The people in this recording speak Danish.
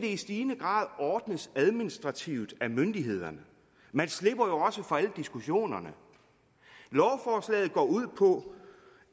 det i stigende grad ordnes administrativt af myndighederne man slipper også for alle diskussionerne lovforslaget går ud på